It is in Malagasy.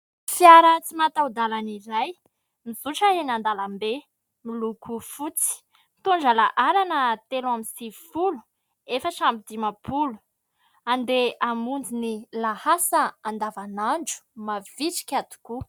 Fiara tsy mataho-dalana izay mizotra eny an-dalambe miloko fotsy, mitondra laharana teloambisivyfolo efatrambidimapolo. Andeha hamonjy ny lahasa andavanandro. Mavitrika tokoa.